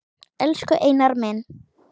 Elsku Einar minn.